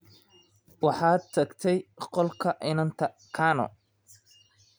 Waxaad tagtay qolka inanta Kano.